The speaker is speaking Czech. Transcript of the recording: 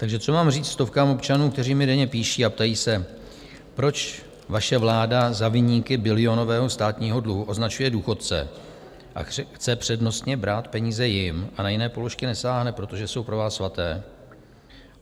Takže co mám říct stovkám občanů, kteří mi denně píší a ptají se, proč vaše vláda za viníky bilionového státního dluhu označuje důchodce a chce přednostně brát peníze jim a na jiné položky nesáhne, protože jsou pro vás svaté?